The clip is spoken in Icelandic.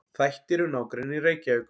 Þættir um nágrenni Reykjavíkur.